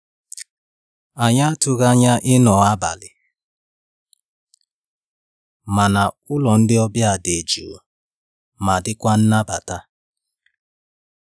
Anyị atụghị anya ịnọ abalị, mana ụlọ ndị ọbịa dị jụụ ma dịkwa nnabata.